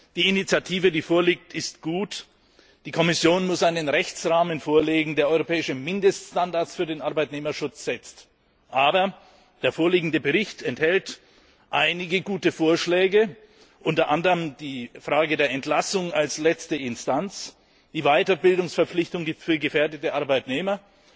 Die Initiative, die vorliegt, ist gut. Die Kommission muss einen Rechtsrahmen vorlegen, der europäische Mindeststandards für den Arbeitnehmerschutz setzt. Aber der vorliegende Bericht enthält einige gute Vorschläge, unter anderem die Frage der Entlassung als letzte Instanz, die Weiterbildungsverpflichtung für gefährdete Arbeitnehmer